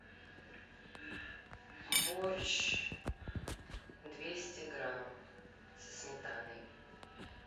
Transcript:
борщ двести грамм со сметаной